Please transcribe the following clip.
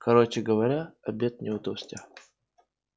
короче говоря обед не удался